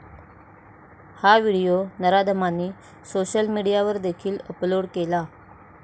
हा व्हिडिओ नराधमांनी सोशल मीडियावर देखील अपलोड केला.